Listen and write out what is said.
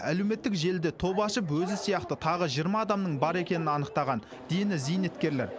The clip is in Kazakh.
әлеуметтік желіде топ ашып өзі сияқты тағы жиырма адамның бар екенін анықтаған дені зейнеткерлер